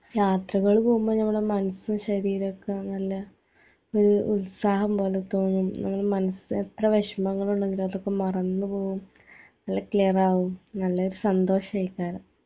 യാത്രകൾ പോവുമ്പോ ഞമ്മളെ മനസും ശരീരോക്കെ നല്ല ഈ ഉത്സാഹം പോലെ തോന്നും നമ്മൾ മനസ് എത്ര വേഷമങ്ങളുണ്ടെങ്കിലും അതൊക്കെ മറന്ന് പോവും നല്ല ക്ലിയറാവും നല്ല സന്തോഷെക്കാരം